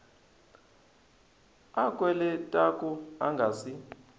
a kweletaku a nga si